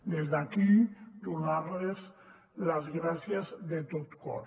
des d’aquí donar los les gràcies de tot cor